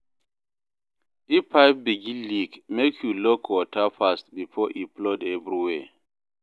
If pipe begin leak, make you lock water fast before e flood everywhere.